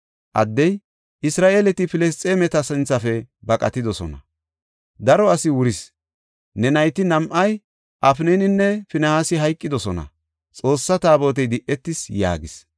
Addey, “Isra7eeleti Filisxeemeta sinthafe baqatidosona; daro asi wuris; ne nayti nam7ay Afnaninne Finihaasi hayqidosona; Xoossaa Taabotey di77etis” yaagis.